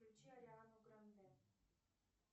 включи ариану гранде